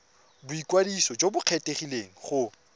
boikwadiso jo bo kgethegileng go